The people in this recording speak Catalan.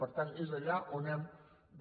per tant és allà on hem de